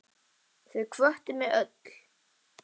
Þau hvöttu mig öll.